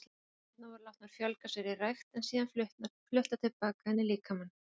Frumurnar voru látnar fjölga sér í rækt en síðan fluttar til baka inn í líkamann.